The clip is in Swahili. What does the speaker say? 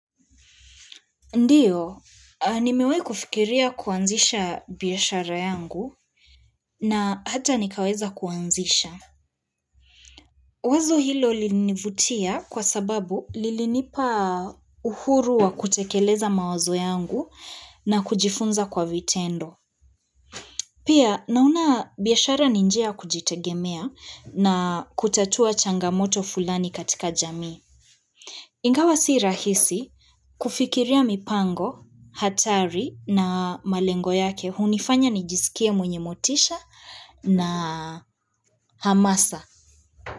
Ndiyo, nimewai kufikiria kuanzisha biashara yangu na hata nikaweza kuanzisha. Wazo hilo linivutia kwa sababu lininipa uhuru wa kutekeleza mawazo yangu na kujifunza kwa vitendo. Pia, naona biashara ni njia ya kujitegemea na kutatua changamoto fulani katika jamii. Ingawa si rahisi kufikiria mipango, hatari na malengo yake, hunifanya nijiskie mwenye motisha na hamasa.